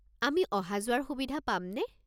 আমি অহা-যোৱাৰ সুবিধা পামনে?